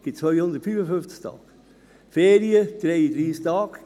Abzüglich 6 Feiertage verbleiben 255 Tage.